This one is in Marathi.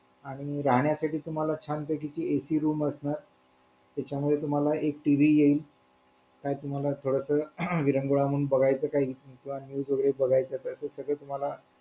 आणि राहण्यासाठी तुम्हाला छान पैकी एक AC room असणार त्याच्यामध्ये तुम्हाला TV येईल काय तुम्हाला कळतं विरंगुळा म्हणून बघायचं काही किंवा news वगैरे बघायचं सगळं तुम्हाला